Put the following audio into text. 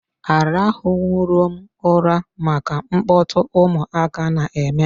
Arahu nwurom ụra maka mkpọtụ ụmụaka na-eme.